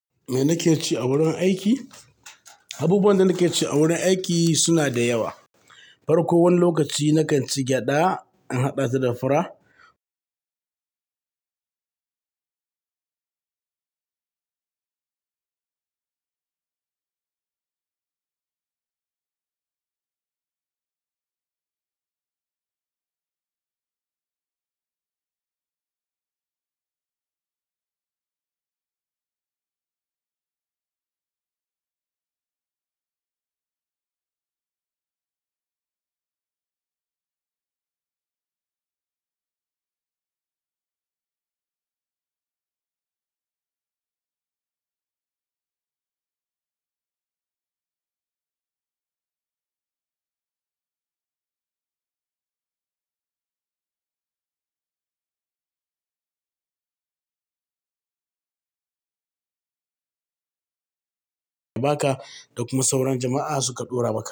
Me nake ci a wurin aiki? Abubuwan da nake ci a wurin aiki suna da yawa. Far ko wani lokaci nakan ci gyaɗa in haɗa ta da fura. Ba ka da kuma sauran jama'a suka ɗora bakansu.